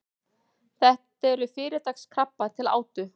þetta eru fyrirtaks krabbar til átu